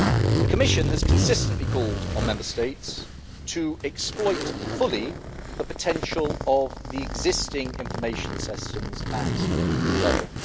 The Commission has consistently called on Member States to exploit fully the potential of the existing information systems at EU level.